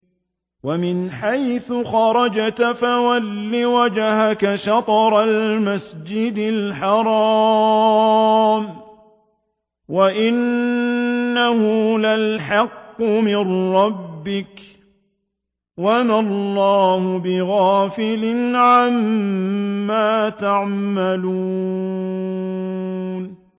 وَمِنْ حَيْثُ خَرَجْتَ فَوَلِّ وَجْهَكَ شَطْرَ الْمَسْجِدِ الْحَرَامِ ۖ وَإِنَّهُ لَلْحَقُّ مِن رَّبِّكَ ۗ وَمَا اللَّهُ بِغَافِلٍ عَمَّا تَعْمَلُونَ